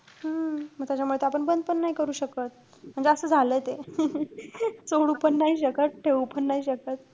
हम्म म त्याच्यामुळे त आपण ते बंद पण नाई करू शकत. म्हणजे असं झालंय ते. सोडू पण नाई शकत ठेवू पण नाई शकत.